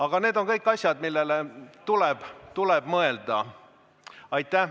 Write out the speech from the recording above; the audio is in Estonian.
Ent need on kõik asjad, millele tuleb mõelda.